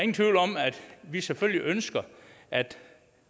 vi selvfølgelig ønsker at